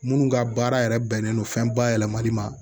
Minnu ka baara yɛrɛ bɛnnen don fɛn bayɛlɛmali ma